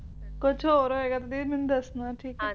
d